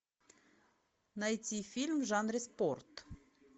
найти фильм в жанре спорт